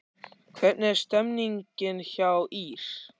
Hvernig er stemningin hjá ÍR?